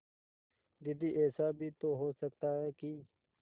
दीदी ऐसा भी तो हो सकता है कि